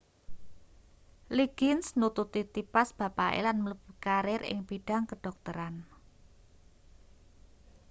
liggins nututi tipas bapake lan mlebu karir ing bidhang kedhokteran